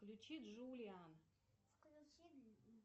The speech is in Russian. включи джулиан